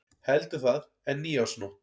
Heldur það en nýársnótt.